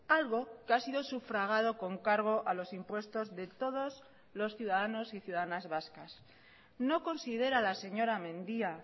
algo que ha sido sufragado con cargo a los impuestos de todos los ciudadanos y ciudadanas vascas no considera la señora mendía